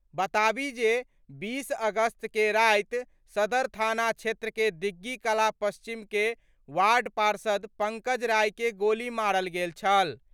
बताबी जे 20 अगस्त के राति सदर थाना क्षेत्र के दिग्धी कला पश्चिम के वार्ड पार्षद पंकज राय के गोली मारल गेल छल।